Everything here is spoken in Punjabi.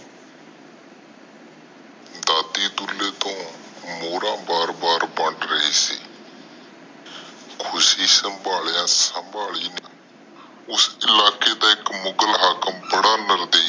ਦਾਦੀ ਡੁਲ੍ਹੇ ਤੋਂ ਮੋੜਾ ਬਾਰ ਬਾਰ ਬਣਨ ਰਹੇ ਸੀ ਖੁਸ਼ੀ ਸੰਭਾਲਿਆ ਸੰਬਲ ਨਹੀਂ ਰਹੀ ਸੀ ਉਸ ਇਲਾਕੇ ਦਾ ਇਕ ਮੁਗ਼ਲ ਹਾਕਮ ਬੜਾ ਨਿਰਦਈ